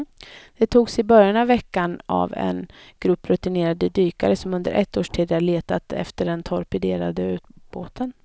De togs i början av veckan av en grupp rutinerade dykare som under ett års tid har letat efter den torpederade ubåten.